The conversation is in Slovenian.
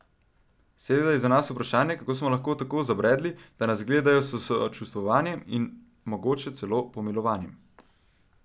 Seveda je za nas vprašanje, kako smo lahko tako zabredli, da nas gledajo s sočustvovanjem in mogoče celo pomilovanjem.